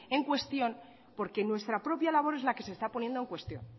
en cuestión porque nuestra propia labor es la que se está poniendo en cuestión